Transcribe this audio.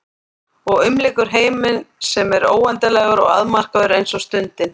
Og umlykur heiminn sem er óendanlegur og afmarkaður eins og stundin.